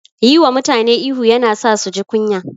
Yi wa mutane ihu yana sa su ji kunya.